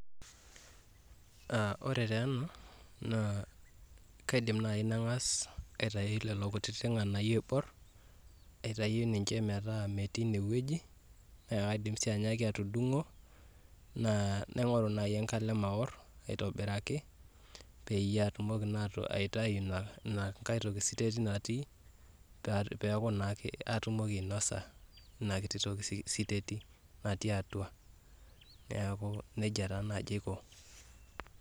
Ore taa ena anaakidim naaji nangas aitayu lelo kititi nganayio ooibor aitayu ninche metaa metii, naa kaidim sii anyaaki atudungo naa naingoru naaji enkalem aowor aitobiraki peyieatumoki naa aitayu inankaie toki siteti natii peaku naa katumoki ainosa ina kititi toki siteti natii atua. Neaku nejia naa naaji aiko